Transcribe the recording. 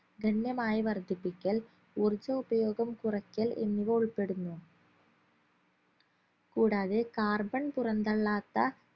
ഗണ്യമായി വർധിപ്പിക്കൽ ഊർജോപയോഗം കുറക്കൽ എന്നിവ ഉൾപ്പെടുന്നു കൂടാതെ carbon പുറംതള്ളാത്ത